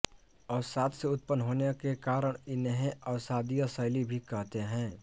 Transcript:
अवसाद से उत्पन्न होने के कारण इन्हें अवसादीय शैल भी कहते हैं